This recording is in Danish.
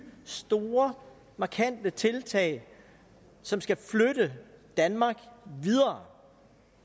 store markante tiltag som skal flytte danmark videre